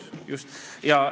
Just, just!